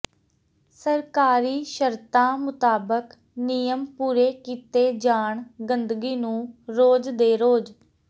ਸਰਕਾਰੀ ਸ਼ਰਤਾ ਮੁਤਾਬਕ ਨਿਯਮ ਪੂਰੇ ਕੀਤੇ ਜਾਣ ਗੰਦਗੀ ਨੂੰ ਰੋਜ ਦੇ ਰੋਜ